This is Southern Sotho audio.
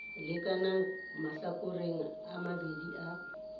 lekanang mahlakoreng a mabedi a